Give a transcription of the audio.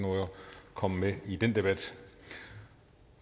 komme med i den debat